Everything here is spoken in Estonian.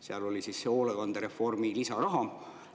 Seal oli see hoolekandereformi lisaraha.